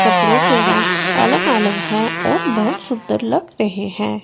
कपड़ों के रंग अलग अलग हैं और बहुत सुंदर लग रहे हैं।